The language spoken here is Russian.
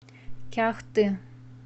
кяхты